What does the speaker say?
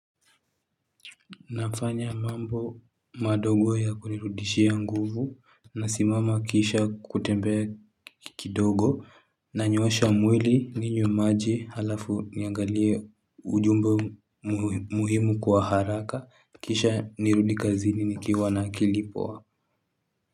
Nafanya mambo madogo ya kunirudishia nguvu nasimama kisha kutembea kidogo nanyoosha mwili ninywe maji halafu niangalie ujumbe muhimu kwa haraka kisha nirudi kazini nikiwa na akili poa.